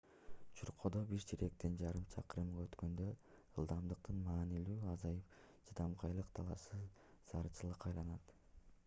чуркоодо бир чейректен жарым чакырымга өткөндө ылдамдыктын маанилүүлүгү азайып чыдамкайлык талашсыз зарылчылыкка айланат